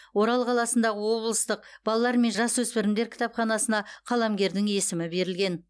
орал қаласындағы облыстық балалар мен жасөспірімдер кітапханасына қаламгердің есімі берілген